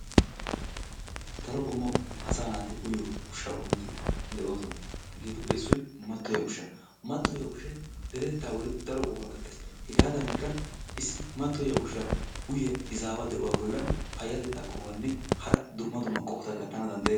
Daro qommo asaa naati uyiyo ushshaa qommoti de'oosona. Hegeetuppe issoy matoyiyaa ushshaa. Mattoyiyaa ushshay deretettaa bolli daro qohuwa gattees. Hegaadanikka issi mattoyiya ushshaa uyiya izaawa bollan payatettaa qohuwanne hara dumma dumma qohota gattana danddayees.